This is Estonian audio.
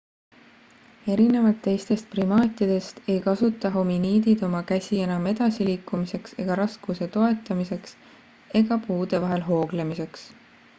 erinevalt teistest primaatidest ei kasuta hominiidid oma käsi enam edasiliikumiseks ega raskuse toetamiseks ega puude vahel hooglemiseks